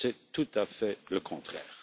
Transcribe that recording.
C'est tout à fait le contraire.